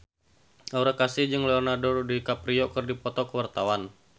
Aura Kasih jeung Leonardo DiCaprio keur dipoto ku wartawan